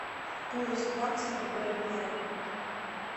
курс бакса к боливару